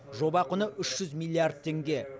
жоба құны үш жүз миллиард теңге